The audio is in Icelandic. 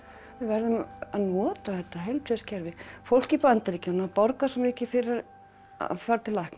við verðum að nota þetta heilbrigðiskerfi fólk í Bandaríkjunum borgar svo mikið fyrir að fara til læknis